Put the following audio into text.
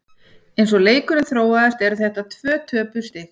Eins og leikurinn þróaðist eru þetta tvö töpuð stig.